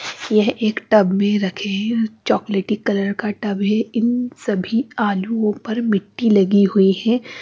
यह एक टब में रखें चॉकलेटी कलर का टब है इन सभी आलुओं पर मिट्टी लगी हुई हैं।